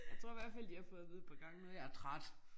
Jeg tror i hvert fald de har fået at vide et par gange nu jeg er træt